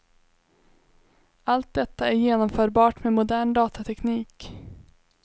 Allt detta är genomförbart med modern datateknik.